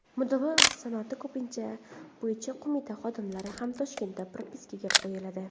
Mudofaa sanoati bo‘yicha qo‘mita xodimlari ham Toshkentda propiskaga qo‘yiladi.